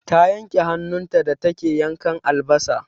Ta yanke hannun ta da take yanka albasa.